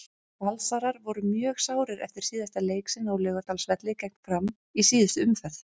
Valsarar voru mjög sárir eftir síðasta leik sinn á Laugardalsvelli gegn Fram í síðustu umferð.